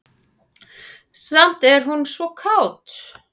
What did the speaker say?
Samt er hún svo kát.